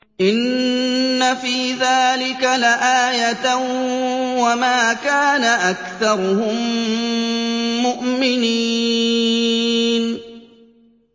إِنَّ فِي ذَٰلِكَ لَآيَةً ۖ وَمَا كَانَ أَكْثَرُهُم مُّؤْمِنِينَ